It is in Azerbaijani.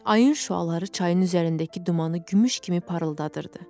Ayın şüaları çayın üzərindəki dumanı gümüş kimi parıldadırdı.